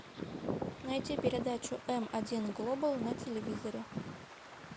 найти передачу м один глобал на телевизоре